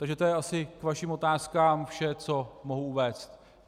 Takže to je asi k vašim otázkám vše, co mohu uvést.